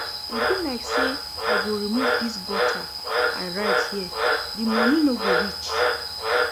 E be like say I go remove dis butter I write here, the money no go reach